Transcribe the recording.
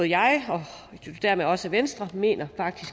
jeg og dermed også venstre mener